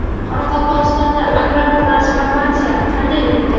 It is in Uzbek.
Qoraqalpog‘istonda agrar transformatsiya qanday o‘tdi?.